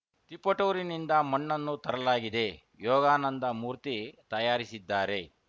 ತಿಪಟೂರಿನಿಂದ ಮಣ್ಣನ್ನು ತರಲಾಗಿದೆ ಯೋಗಾನಂದ ಮೂರ್ತಿ ತಯಾರಿಸಿದ್ದಾರೆ